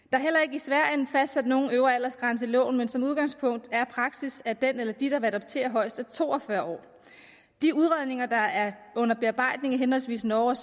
i sverige fastsat nogen øvre aldersgrænse i loven men som udgangspunkt er praksis at den eller de der vil adoptere højst er to og fyrre år de udredninger der er under bearbejdning i henholdsvis norge